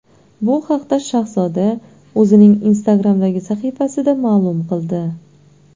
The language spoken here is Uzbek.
Bu haqda Shahzoda o‘zining Instagram’dagi sahifasida ma’lum qildi .